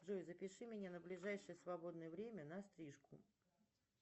джой запиши меня на ближайшее свободное время на стрижку